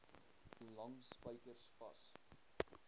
lang spykers vas